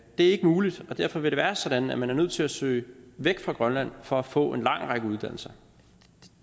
er ikke muligt og derfor vil det være sådan at man er nødt til at søge væk fra grønland for at få en lang række uddannelser